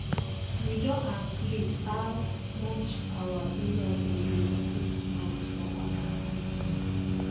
we don agree how much our in-law go dey put mouth for our life matter